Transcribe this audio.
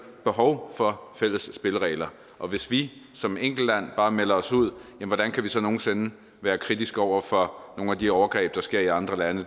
behov for fælles spilleregler og hvis vi som enkeltland bare melder os ud hvordan kan vi så nogen sinde være kritiske over for nogle at de overgreb der sker i andre lande